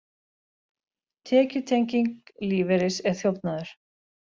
Tekjutenging lífeyris er þjófnaður